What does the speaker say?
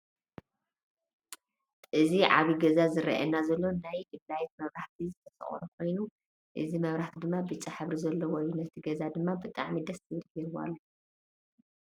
እዚ ዓብይ ገዛ ዝርአየና ዘሎ ናይ ድምላይት መብራህቲ ዝተሰቀሎ ኮይኑ እዚ መብራህቲ ድማ ብጫ ሕብሪ ዘለዎ እዩ። ነቲ ገዛ ድማ ብጣዕሚ ደስ ዝብል ጌርዎ ኣሎ።